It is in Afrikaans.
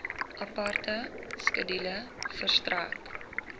aparte skedule verstrek